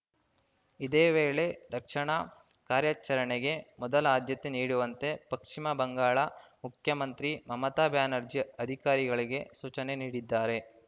ಇದೇ ವೇಳೆ ರಕ್ಷಣಾ ಕಾರ್ಯಚರಣೆಗೆ ಮೊದಲ ಆದ್ಯತೆ ನೀಡುವಂತೆ ಪಶ್ಚಿಮ ಬಂಗಾಳ ಮುಖ್ಯಮಂತ್ರಿ ಮಮತಾ ಬ್ಯಾನರ್ಜಿ ಅಧಿಕಾರಿಗಳಿಗೆ ಸೂಚನೆ ನೀಡಿದ್ದಾರೆ